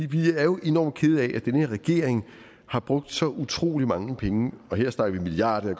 vi er jo enormt kede af at den her regering har brugt så utrolig mange penge og der snakker vi milliarder og